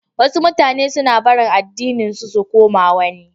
Wasu mutanan suna barin addininsu su koma wani.